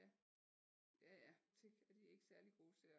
Ja ja ja selvom de ikke særlig gode til at